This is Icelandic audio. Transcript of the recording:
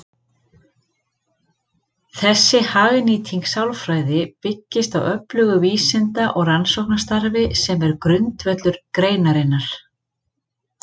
Þessi hagnýting sálfræði byggist á öflugu vísinda- og rannsóknarstarfi sem er grundvöllur greinarinnar.